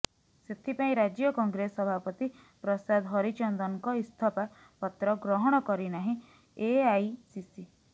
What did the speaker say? ସେଥିପାଇଁ ରାଜ୍ୟ କଂଗ୍ରେସ ସଭାପତି ପ୍ରସାଦ ହରିଚନ୍ଦନଙ୍କ ଇସ୍ତଫା ପତ୍ର ଗ୍ରହଣ କରିନାହିଁ ଏଆଇସିସି